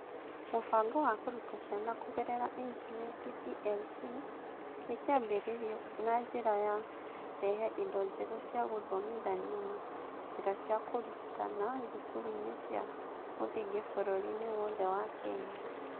Mũbango wa Kũruta Ciana Kũgerera Intaneti (DLP) nĩ kĩambĩrĩirio na njĩra ya kũrehe indo njerũ cia gũthomithania na njĩra cia kũrutana thukuru-inĩ cia mũthingi bũrũri-inĩ wothe wa Kenya.